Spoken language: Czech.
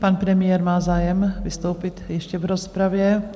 Pan premiér má zájem vystoupit ještě v rozpravě?